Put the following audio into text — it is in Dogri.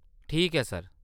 ठीक ऐ सर।